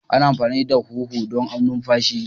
Ana amfani da huhu don numfashi.